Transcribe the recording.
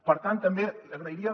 per tant també li agrairia